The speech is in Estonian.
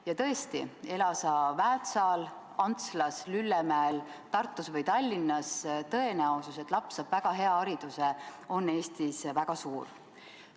Ja tõesti, ela sa Väätsal, Antslas, Lüllemäel, Tartus või Tallinnas – tõenäosus, et laps saab väga hea hariduse, on Eestis väga suur.